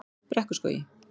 Brekkuskógi